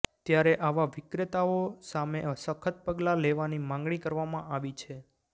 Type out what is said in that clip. ત્યારે આવા વિક્રેતાઓ સામે સખત પગલા લેવાની માંગણી કરવામાં આવી છે